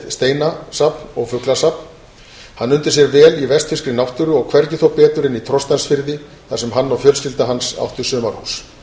steinasafn og fuglasafn hann undi sér vel í vestfirskri náttúru og hvergi þó betur en í trostansfirði þar sem hann og fjölskylda hans áttu sumarhús